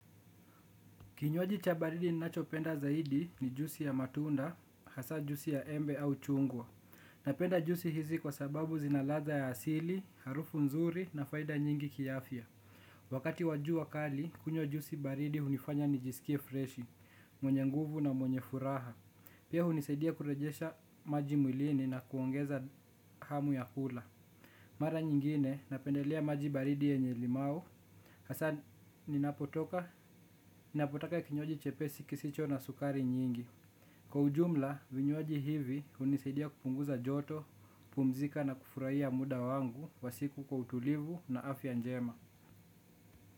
Kinywaji cha baridi ninachopenda zaidi ni jusi ya matunda, hasa juisi ya embe au chungwa. Napenda juisi hizi kwa sababu zinaladha ya asili, harufu nzuri na faida nyingi kiafya. Wakati wa jua kali, kunywa juisi baridi hunifanya nijisikie freshi, mwenye nguvu na mwenye furaha. Pia huni saidia kurejesha maji mwilini na kuongeza hamu ya kula. Mara nyingine napendelea maji baridi yenye limau hasa ninapo toka, ninapo taka kinywaji chepesi kisicho na sukari nyingi. Kwa ujumla, vinywaji hivi hunisidia kupunguza joto, pumzika na kufurahiya muda wangu wasiku kwa utulivu na afya njema.